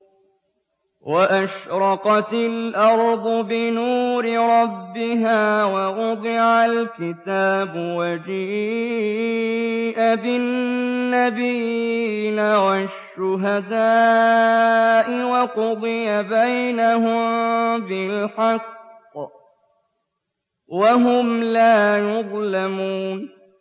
وَأَشْرَقَتِ الْأَرْضُ بِنُورِ رَبِّهَا وَوُضِعَ الْكِتَابُ وَجِيءَ بِالنَّبِيِّينَ وَالشُّهَدَاءِ وَقُضِيَ بَيْنَهُم بِالْحَقِّ وَهُمْ لَا يُظْلَمُونَ